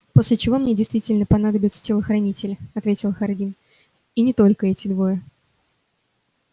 после чего мне действительно понадобятся телохранители ответил хардин и не только эти двое